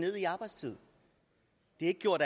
har gjort